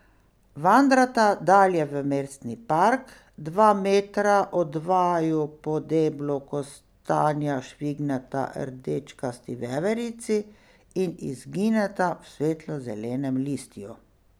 Vandrata dalje v mestni park, dva metra od vaju po deblu kostanja švigneta rdečkasti veverici in izgineta v svetlo zelenem listju.